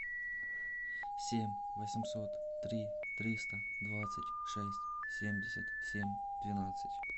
семь восемьсот три триста двадцать шесть семьдесят семь двенадцать